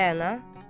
Rəana.